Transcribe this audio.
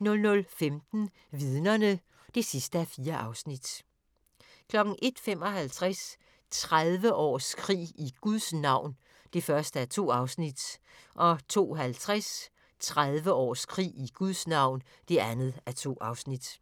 00:15: Vidnerne (4:4) 01:55: 30 års krig i Guds navn (1:2) 02:50: 30 års krig i Guds navn (2:2)